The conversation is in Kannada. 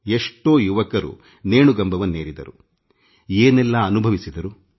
ಎಷ್ಟೋ ಯುವಕರು ನೇಣುಗಂಬವನ್ನೇರಿದರು ಏನೆಲ್ಲ ಸಂಕಷ್ಟ ಅನುಭವಿಸಿದರು